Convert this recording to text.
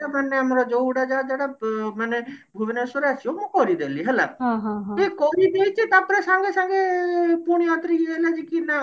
ଯେମତି ଆମ ଯୋଉ ଉଡାଜାହାଜ ଗୁଡାକ ପ ମାନେ ଭୁବନେଶ୍ବର ଆସିବ ମୁଁ କରିଦେଲି ହେଲା ମୁଁ କରିଦେଇଛି ତାପରେ ସାଙ୍ଗେ ସାଙ୍ଗେ